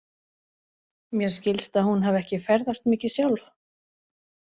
Mér skilst að hún hafi ekki ferðast mikið sjálf?